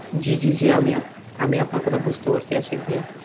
জি জি জি, আমি আপনার কথা বুঝতে পারছি আশিক ভাইয়া,